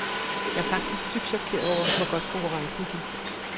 Jeg er faktisk dybt chokeret over, hvor godt konkurrencen gik.